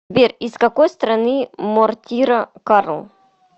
сбер из какой страны мортира карл